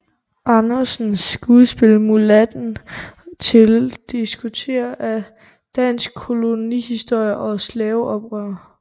Andersens skuespil Mulatten til at diskutere dansk kolonihistorie og slaveoprør